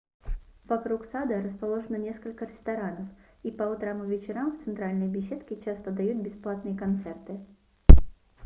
вокруг сада расположено несколько ресторанов и по утрам и вечерам в центральной беседке часто дают бесплатные концерты